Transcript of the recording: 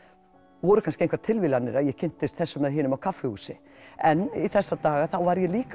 voru kannski engar tilviljanir að ég kynntist þessum eða hinum á kaffihúsi en í þessa daga þá var ég líka